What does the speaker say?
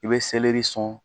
I bɛ sɔn